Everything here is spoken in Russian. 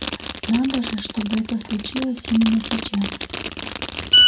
надо же чтобы это случилось именно сейчас